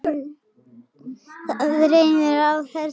Það rennur af þessu svæði.